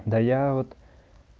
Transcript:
да я вот